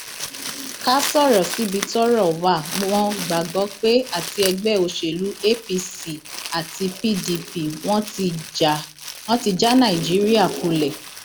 ká sọrọ síbi tọrọ wá mọ gbàgbọ pé àti ẹgbẹ òsèlú apc àti pdp wọn ti já nàìjíríà kulẹ